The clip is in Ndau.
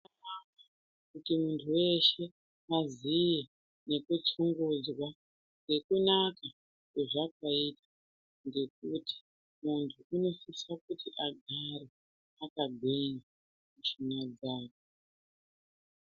Kuti muntu weshe aziye nekutsunguzwa nekunaka kwazvakaita ngekuti muntu unosise kuti kugare akagwinya mushuna dzake.